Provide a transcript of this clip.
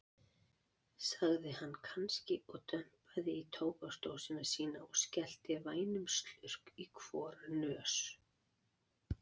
sagði hann kannski og dumpaði í tóbaksdósina sína og skellti vænum slurk í hvora nös.